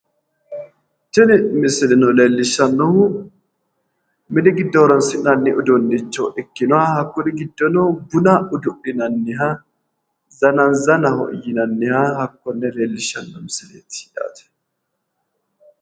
Tini misileno leellishshannohu mini giddo horonsi'nanni uduunnicho ikkinoha hakkori giddono buna udu'linanniha zananzanaho yinanniha hakkonne leellishshanno misileeti yaate.